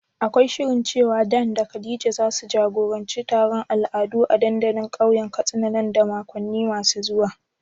Akwai shirin cewa Dan da Khadija zasu jagoranci taron al'adu a dandalin kauyen Katsina nan da makonni masu zuwa?